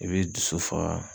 I b'i dusu faga